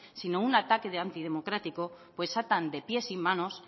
sino un ataque antidemocrático pues atan de pies y manos